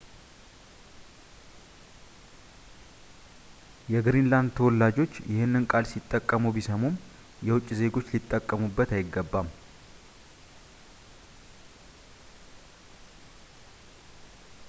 የግሪንላንድ ተወላጆች ይህንን ቃል ሲጠቀሙ ቢሰሙም የውጭ ዜጎች ሊጠቀሙበት አይገባም